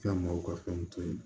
Ka maaw ka fɛn to ye